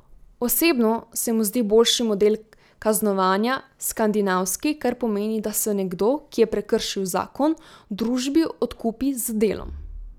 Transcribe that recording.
Osebno se mu zdi boljši model kaznovanja skandinavski, kar pomeni, da se nekdo, ki je prekršil zakon, družbi odkupi z delom.